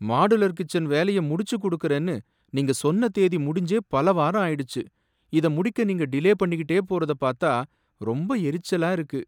Modular kitchen வேலையை முடிச்சு கொடுக்கிறேன்னு நீங்க சொன்ன தேதி முடிஞ்சே பலவாரம் ஆயிடுச்சு, இத முடிக்க நீங்க டிலே பண்ணிகிட்டே போறத பாத்தா ரொம்ப எரிச்சலா இருக்கு.